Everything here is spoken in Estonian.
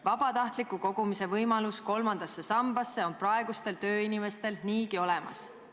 Vabatahtliku kogumise võimalus kolmandasse sambasse on praegustel tööinimestel niigi olemas".